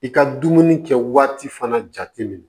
I ka dumuni kɛ waati fana jate minɛ